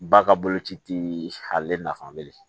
Ba ka boloci ti ale nafa bilen